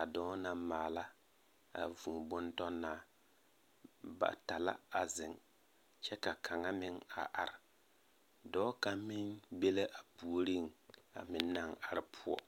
a dɔɔ naŋ maala a vŭŭ-bon-tɔnnaa. Bata la a zeŋ kyɛ ka kaŋa meŋ a are. Dɔɔ kaŋa meŋ be la a puori a meŋ naŋ are poɔ.